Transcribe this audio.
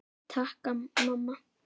Takk mamma!